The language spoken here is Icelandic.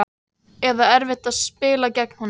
Eða erfitt að spila gegn honum?